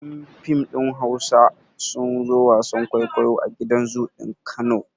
Yan fim ɗin Hausa sun zo wasan kwaikwayo a gidan zoo ɗin Kano.